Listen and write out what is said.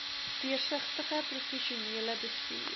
deursigtige professionele bestuur